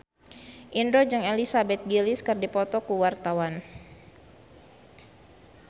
Indro jeung Elizabeth Gillies keur dipoto ku wartawan